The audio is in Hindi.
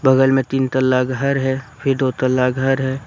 बगल में तीन तल्ला घर है। फिर दो तल्ला घर है।